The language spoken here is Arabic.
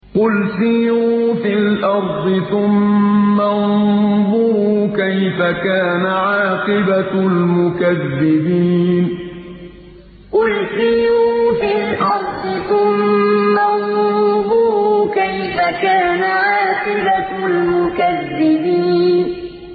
قُلْ سِيرُوا فِي الْأَرْضِ ثُمَّ انظُرُوا كَيْفَ كَانَ عَاقِبَةُ الْمُكَذِّبِينَ قُلْ سِيرُوا فِي الْأَرْضِ ثُمَّ انظُرُوا كَيْفَ كَانَ عَاقِبَةُ الْمُكَذِّبِينَ